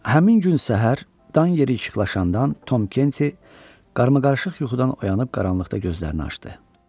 Həmin gün səhər dan yeri işıqlaşandan Tom Kenti qarma-qarışıq yuxudan oyanıb qaranlıqda gözlərini açdı.